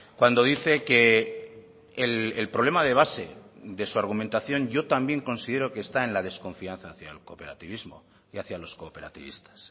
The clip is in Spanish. cuando dice que el problema de base de su argumentación yo también considero que está en la desconfianza hacia el cooperativismo y hacia los cooperativistas